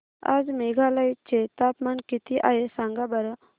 आज मेघालय चे तापमान किती आहे सांगा बरं